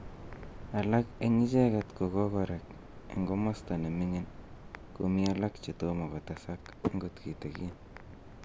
Alak en icheget kogokorek en komosto ne ming'in komii alak che tom kotesak agot kitigin